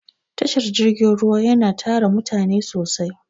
Tashar jirgin ruwa yana tara mutane sosai.